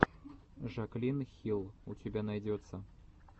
жаклин хилл у тебя найдется